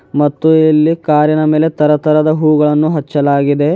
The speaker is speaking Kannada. ಮತ್ತು ಇಲ್ಲಿ ಕಾರಿನ ಮೇಲೆ ತರತರದ ಹೂಗಳನ್ನು ಹಚ್ಚಲಾಗಿದೆ.